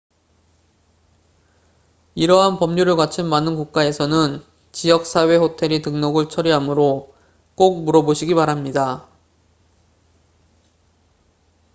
이러한 법률을 갖춘 많은 국가에서는 지역 사회 호텔이 등록을 처리하므로 꼭 물어보시기 바랍니다